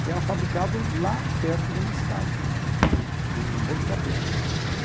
Que era fabricado lá perto da minha cidade, em Botucatu.